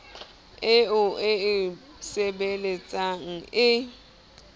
eo o e sebeletsang e